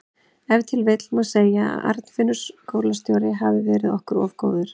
Ef til vill má segja að Arnfinnur skólastjóri hafi verið okkur of góður.